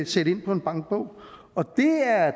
sætte ind på en bankbog og det